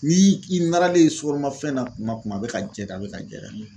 Ni i naralen sukaromafɛn na kuma kuma bɛ ka diya i da a bɛ ka diya i da